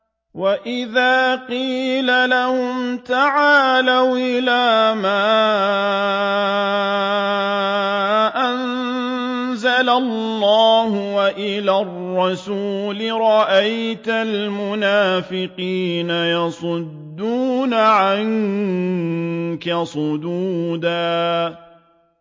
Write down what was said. وَإِذَا قِيلَ لَهُمْ تَعَالَوْا إِلَىٰ مَا أَنزَلَ اللَّهُ وَإِلَى الرَّسُولِ رَأَيْتَ الْمُنَافِقِينَ يَصُدُّونَ عَنكَ صُدُودًا